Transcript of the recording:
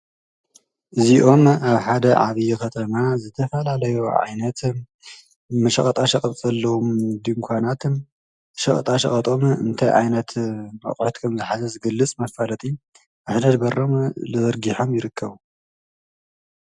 እዝይኦም ኣብ ሓደ ዓብይ ከተማ ዝተፈላለዩ ዓይነት ሸቀጣ ሸቀጥ ዘለዎም ድንኳናትን ሸቀጣ ሸቀጦምን እንታይ ዓይነት ኣቁሑት ከምዝሓዘ ዝገልፅ መፋለጢ ዓይነት ኣብ ሕድ ሕድ በሮም ዘርጊሖም ይርከቡ።